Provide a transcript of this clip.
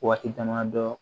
Waati dama dɔ